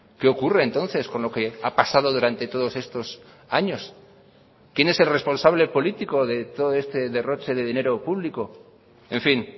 qué ocurre entonces con lo que ha pasado durante todos estos años quién es el responsable político de todo este derroche de dinero público en fin